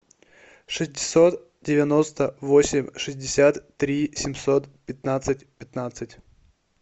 шестьсот девяносто восемь шестьдесят три семьсот пятнадцать пятнадцать